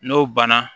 N'o banna